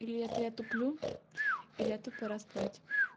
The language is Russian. или это я туплю или это пора спать